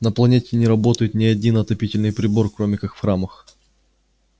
на планете не работает ни один отопительный прибор кроме как в храмах